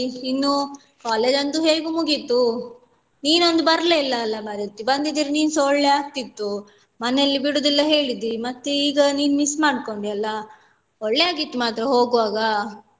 ಇನ್ನು college ಅಂತೂ ಹೇಗೂ ಮುಗಿತು ನಿನ್ನೊಂದು ಬರ್ಲೆ ಇಲ್ಲ ಅಲ ಮಾರೈತಿ ಬಂದಿದ್ರೆ ನಿನ್ಸ ಒಳ್ಳೆ ಆಗ್ತಿತ್ತು ಮನೆಯಲ್ಲಿ ಬಿಡುದಿಲ್ಲ ಹೇಳಿದಿ ಮತ್ತೆ ಈಗ ನೀನ್ miss ಮಾಡ್ಕೊಂಡಿಯಲ ಒಳ್ಳೆ ಆಗಿತ್ತು ಮಾತ್ರ ಹೋಗುವಾಗ.